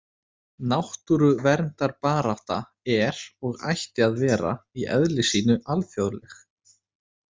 Náttúruverndarbarátta er, og ætti að vera, í eðli sínu alþjóðleg.